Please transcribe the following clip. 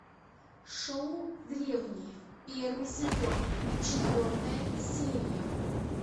шоу древние первый сезон четвертая серия